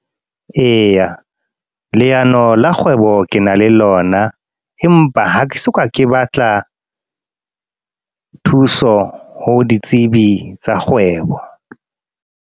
Eya, leano la kgwebo ke na le lona. Empa ha ke soka, ke batla thuso ho ditsebi tsa kgwebo.